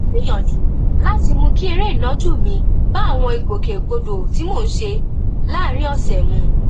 mò ń gbìyànjú láti mú kí eré ìnàjú mi bá àwọn ìgbòkègbodò tí mò ń ṣe láàárín òsè mu